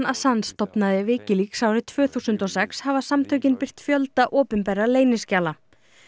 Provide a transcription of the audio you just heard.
stofnaði Wikileaks árið tvö þúsund og sex hafa samtökin birt fjölda opinberra leyniskjala